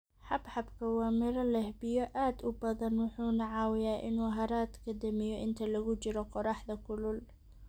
Xabxabka waa miro leh biyo aad u badan wuxuuna caawiyaa inuu haraadka damiyo inta lagu jiro qoraxda kulul.